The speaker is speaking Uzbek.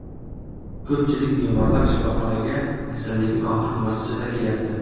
Ko‘pchilik bemorlar shifoxonaga kasallikning oxirgi bosqichida kelyapti.